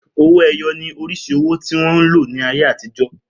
Owó-ẹyọ ni oríṣi owó tí wọ́n lò ní ayé àtijọ́.